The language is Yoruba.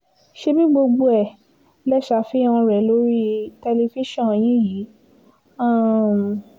ṣebí gbogbo ẹ̀ lè ṣàfihàn rẹ̀ lórí tẹlifíṣàn yín yìí um